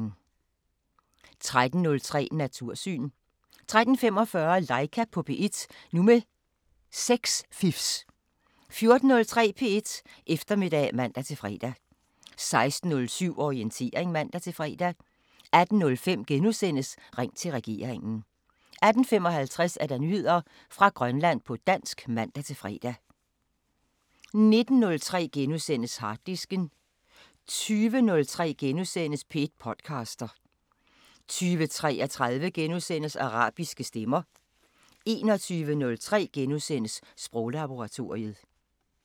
13:03: Natursyn 13:45: Laika på P1 – nu med sexfifs 14:03: P1 Eftermiddag (man-fre) 16:07: Orientering (man-fre) 18:05: Ring til regeringen * 18:55: Nyheder fra Grønland på dansk (man-fre) 19:03: Harddisken * 20:03: P1 podcaster * 20:33: Arabiske Stemmer * 21:03: Sproglaboratoriet *